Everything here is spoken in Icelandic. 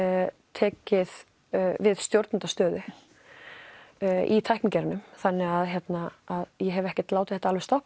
tekið við stjórnendastöðu í tæknigeiranum þannig að ég hef ekki látið þetta alveg stoppa